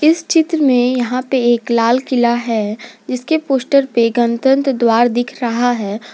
इस चित्र में यहां पे एक लाल किला जिसके पोस्टर पे गणतंत्र द्वार दिख रहा है।